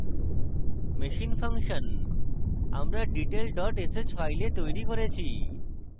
machine function আমরা detail dot sh file তৈরী করেছি